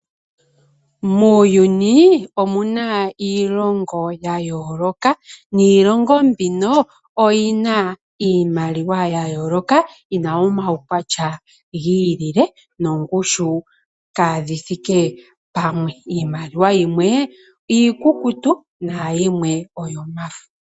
Muuyuni omuna iilongo ya yooloka niilongo mbino oyina iimaliwa ya yooloka yina omaukwatya giilile noongushu kaadhi thike pamwe ,iimaliwa yimwe iikukutu nayimwe oyomafo.